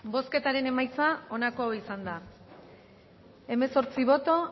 bozketaren emaitza onako izan da hirurogeita hamaika eman dugu bozka hemezortzi boto